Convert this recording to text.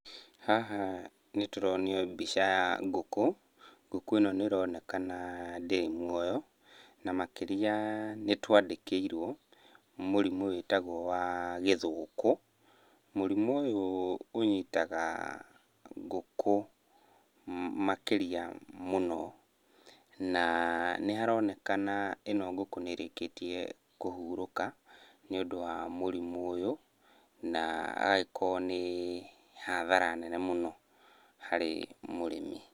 Haha nĩtũronio mbica ya ngũkũ, ngũkũ ĩno nĩĩronekana ndĩrĩ muoyo, na makĩria nĩtwandĩkĩirwo mũrimũ wĩtagwo wa gĩthũkũ. Mũrimũ ũyũ ũnyitaga ngũkũ makĩria mũno. Na nĩharonekana ĩno ngũkũ nĩĩrĩkĩtie kũhurũka, nĩ ũndũ wa mũrimũ ũyũ, na agagĩkorwo nĩ hathara nene mũno harĩ mũrĩmi.